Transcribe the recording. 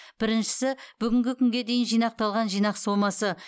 біріншісі бүгінгі күнге дейін жинақталған жинақ сомасы